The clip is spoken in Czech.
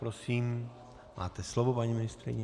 Prosím, máte slovo, paní ministryně.